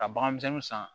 Ka bagan misɛnnin san